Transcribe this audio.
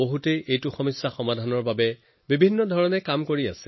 ইয়াৰ সমাধানৰ বাবে বহুত ব্যাপক স্তৰত কাম হৈ আছে